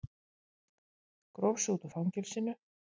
Gróf sig út úr fangelsinu